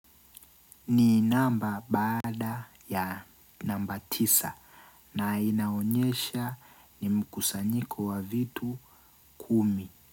Ni namba baada ya namba tisa na inaonyesha ni mkusanyiko wa vitu kumi.